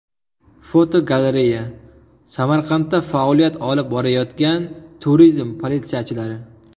Fotogalereya: Samarqandda faoliyat olib borayotgan turizm politsiyachilari.